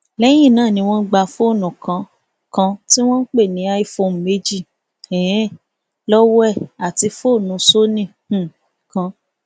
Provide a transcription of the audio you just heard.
lẹyìn náà ni wọn gba fóònù kan kan tí wọn ń pè ní iphone méjì um lọwọ ẹ àti fóònù sony um kan